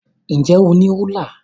Ǹ jẹ́ o ní rúlà?